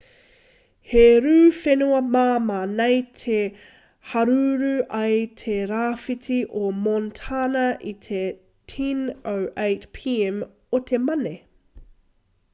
he rū whenua māmā nei i haruru ai te rāwhiti o montana i te 10:08 p.m o te mane